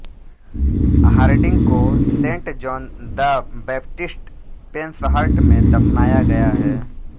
Hardinge को Saint John the Baptist Penshurst में दफनाया गया है